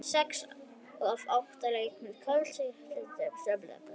Sex af átta leikjum kvöldsins í enska deildabikarnum er lokið.